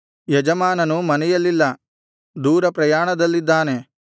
ಯಜಮಾನನು ಮನೆಯಲ್ಲಿಲ್ಲ ದೂರ ಪ್ರಯಾಣದಲ್ಲಿದ್ದಾನೆ